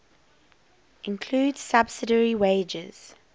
includes subsidiary wagers